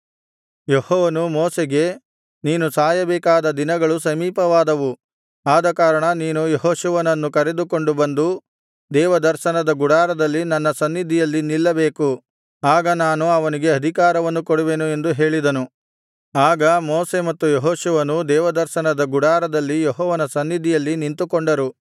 ಯೆಹೋವನು ಮೋಶೆಗೆ ನೀನು ಸಾಯಬೇಕಾದ ದಿನಗಳು ಸಮೀಪವಾದವು ಆದಕಾರಣ ನೀನು ಯೆಹೋಶುವನನ್ನು ಕರೆದುಕೊಂಡು ಬಂದು ದೇವದರ್ಶನದ ಗುಡಾರದಲ್ಲಿ ನನ್ನ ಸನ್ನಿಧಿಯಲ್ಲಿ ನಿಲ್ಲಬೇಕು ಆಗ ನಾನು ಅವನಿಗೆ ಅಧಿಕಾರವನ್ನು ಕೊಡುವೆನು ಎಂದು ಹೇಳಿದನು ಆಗ ಮೋಶೆ ಮತ್ತು ಯೆಹೋಶುವನೂ ದೇವದರ್ಶನದ ಗುಡಾರದಲ್ಲಿ ಯೆಹೋವನ ಸನ್ನಿಧಿಯಲ್ಲಿ ನಿಂತುಕೊಂಡರು